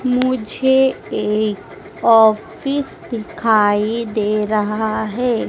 मुझे एक ऑफिस दिखाई दे रहा है।